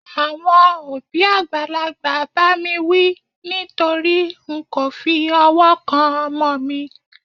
àwọn òbí àgbàlagbà ba mi wí nitori n ko fi ọwọ kan ọmọ mi